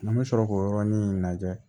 An bɛ sɔrɔ k'o yɔrɔnin lajɛ